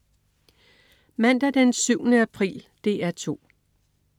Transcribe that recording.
Mandag den 7. april - DR 2: